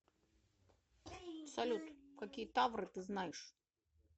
салют какие тавры ты знаешь